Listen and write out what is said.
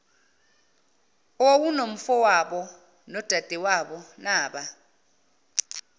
owawunomfowabo nodadewabo naba